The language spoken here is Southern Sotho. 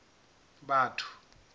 batho